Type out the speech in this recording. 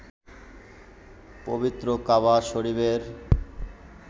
পবিত্র কাবা শরিফের